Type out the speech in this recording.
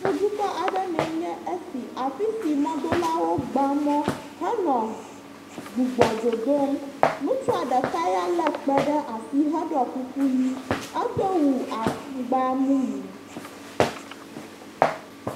Yevudukɔ aɖe mee nye esi, afi si mɔdolawo gba mɔ henɔ gb,,,, gbugbɔ dodom, ŋutsua ɖeka ya lé kpẽ ɖe asi heɖɔ kuku ʋi, edo wu e,,,ŋgba mumu.